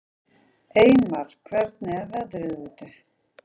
Eymar, hvernig er veðrið úti?